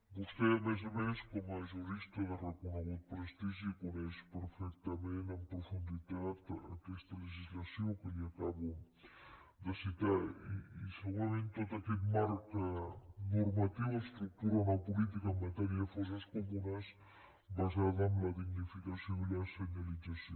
vostè a més a més com a jurista de reconegut prestigi coneix perfectament en profunditat aquesta legislació que li acabo de citar i segurament tot aquest marc normatiu estructura una política en matèria de fosses comunes basada en la dignificació i la senyalització